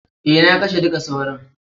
Eh, na kashe dukka sauron.